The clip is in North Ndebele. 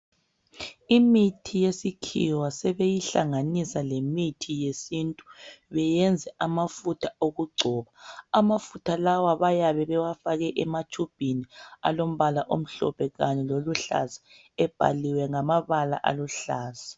Imithi yesikhiwa sebeyihlanganisa lemithi yesintu beyenze amafutha okugcoba ,Amafutha lawa bayabe bewafake ematshubhini alombala omhlophe Kanye loluhlaza ebhaliwe ngamabala aluhlaza.